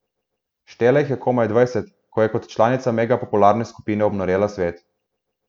Štela jih je komaj dvajset, ko je kot članica megapopularne skupine obnorela svet.